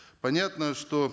понятно что